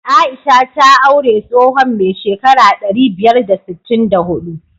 Aisha ta aure tsohon mai shekara ɗari biyar da sittin da huɗu.